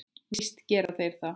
Víst gera þeir það!